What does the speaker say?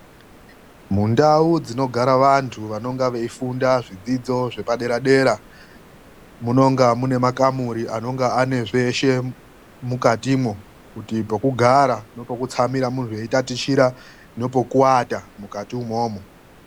MUNDAU DZINOGARA VANTU VANONGA VEIFUNDA ZVIZDIDZO ZVEPADERA DERA. MUNONGA MUNE MAKAMURI ANONGA ANE ZVESHE MUIKATIMWO, KUTI PEKUGARA NEPEKUTSAMIRA MUNHU EITATICHIRA NOPOKUATA MUKATI UMWOUMWO.